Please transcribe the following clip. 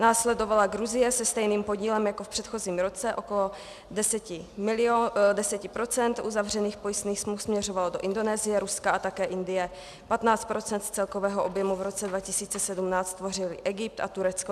Následovala Gruzie se stejným podílem jako v předchozím roce, okolo 10 % uzavřených pojistných smluv směřovalo do Indonésie, Ruska a také Indie. 15 % z celkového objemu v roce 2017 tvořily Egypt a Turecko.